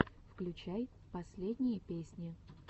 включай последние песни